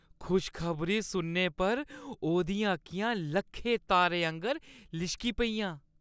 खुश खबरी सुनने पर ओह्‌दियां अक्खियां लक्खें तारें आंह्‌गर लिशकी पेइयां।